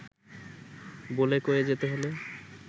বলে-কয়ে যেতে হলে